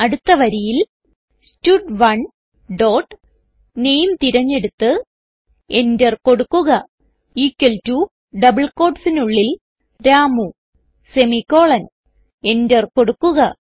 അടുത്ത വരിയിൽ സ്റ്റഡ്1 ഡോട്ട് നാമെ തിരഞ്ഞെടുത്ത് enter കൊടുക്കുക ഇക്വൽ ടോ ഡബിൾ quotesനുള്ളിൽ രാമു സെമിക്കോളൻ enter കൊടുക്കുക